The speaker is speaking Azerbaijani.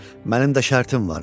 Mənim də şərtim vardı.